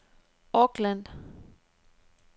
Auckland